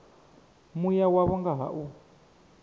mua wavho nga ha u